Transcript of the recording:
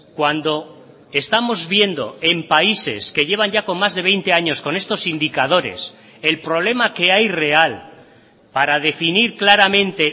cuando estamos viendo en países que llevan ya con más de veinte años con estos indicadores el problema que hay real para definir claramente